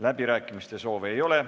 Läbirääkimiste soove ei ole.